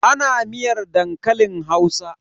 Ana miyar dankalin Hausa?